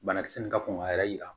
Banakisɛ nin ka kɔn ka yɛrɛ yira